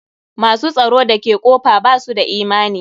Ma s u tsaro da ke kofa ba su da imani.